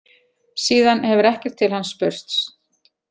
Síðan hefur ekkert til hans spurst